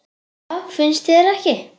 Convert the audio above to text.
Já, finnst þér ekki?